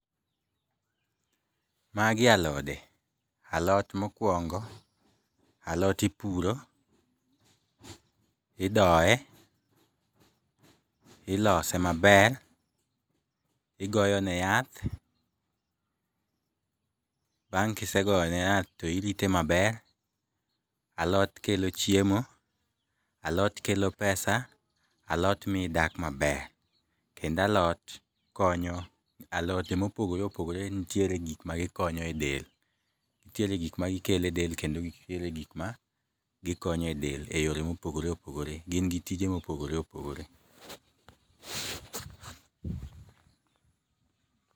Magie alode, alot mokuongo' alot iporo, idoye, ilose maber igoyone yath, bang' ka isegoyone yath to irite maber, alot kelo chiemo , alot kelo pesa , alot miyi idak maber kendo alot konyo alote ma opogore opogore nitiere gik ma gikonyo e del nitiere gik ma gikelo e del kendo nitiere gik ma gikonyo e del e yore ma opogore opogore gin gi tije ma opogore opogore.